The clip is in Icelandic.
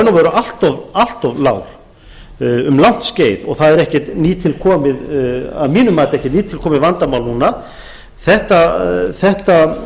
raun og veru allt of lágur um langt skeið það er að mínu mati ekki nýtilkomið vandamál núna það verður að vinna að